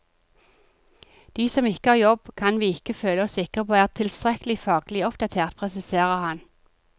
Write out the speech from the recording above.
De som ikke har jobb, kan vi ikke føle oss sikre på er tilstrekkelig faglig oppdatert, presiserer han.